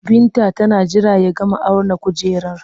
Binta tana jira ya gama auna kujerar